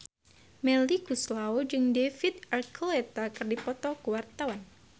Melly Goeslaw jeung David Archuletta keur dipoto ku wartawan